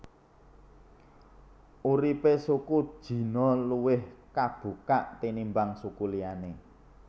Uripe suku Jino luwih kabukak tinimbang suku liyane